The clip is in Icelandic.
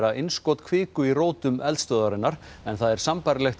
innskot kviku í rótum eldstöðvarinnar en það er sambærilegt